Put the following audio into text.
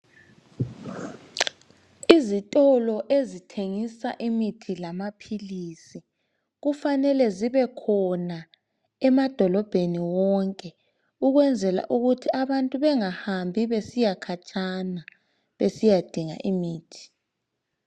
Izitolo ezithengisa imithi lamaphilisi kufanele zibekhona emadolobheni wonke ukwenzela ukuthi abantu bengahambi besiya khatshana besiyadinga imithi